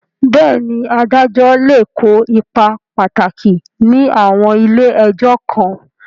Bẹ́ẹ̀ni, adájọ́ lè kó ipa pàtàkì ní àwọn ilé ẹjọ́ kan.